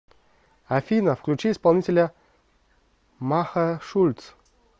афина включи исполнителя маха шульц